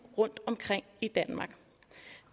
rundtomkring i danmark